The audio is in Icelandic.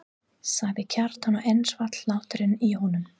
sagði Kjartan og enn svall hláturinn í honum.